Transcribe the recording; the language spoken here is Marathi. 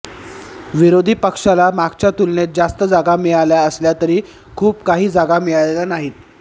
विरोधी पक्षाला मागच्या तुलनेत जास्त जागा मिळाल्या असल्या तरी खूप काही जागा मिळालेल्या नाहीत